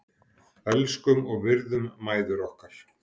Elskum og virðum mæður okkar.